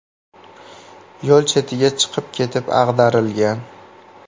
yo‘l chetiga chiqib ketib ag‘darilgan.